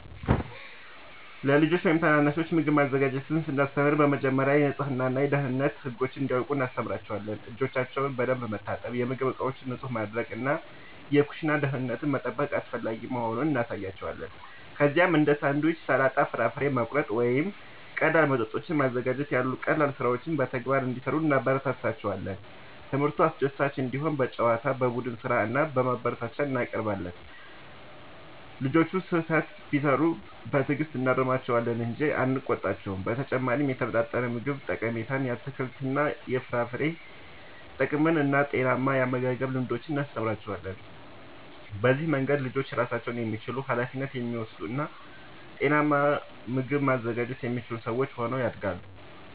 ለልጆች ወይም ታናናሾች ምግብ ማዘጋጀትን ስናስተምር በመጀመሪያ የንጽህና እና የደህንነት ህጎችን እንዲያውቁ እናስተምራቸዋለን። እጆቻቸውን በደንብ መታጠብ፣ የምግብ ዕቃዎችን ንጹህ ማድረግ እና የኩሽና ደህንነትን መጠበቅ አስፈላጊ መሆኑን እናሳያቸዋለን። ከዚያም እንደ ሳንድዊች፣ ሰላጣ፣ ፍራፍሬ መቁረጥ ወይም ቀላል መጠጦችን ማዘጋጀት ያሉ ቀላል ሥራዎችን በተግባር እንዲሠሩ እናበረታታቸዋለን። ትምህርቱ አስደሳች እንዲሆን በጨዋታ፣ በቡድን ሥራ እና በማበረታቻ እናቀርበዋለን። ልጆቹ ስህተት ቢሠሩ በትዕግሥት እናርማቸዋለን እንጂ አንቆጣቸውም። በተጨማሪም የተመጣጠነ ምግብ ጠቀሜታን፣ የአትክልትና የፍራፍሬ ጥቅምን እና ጤናማ የአመጋገብ ልምዶችን እናስተምራቸዋለን። በዚህ መንገድ ልጆች ራሳቸውን የሚችሉ፣ ኃላፊነት የሚወስዱ እና ጤናማ ምግብ ማዘጋጀት የሚችሉ ሰዎች ሆነው ያድጋሉ።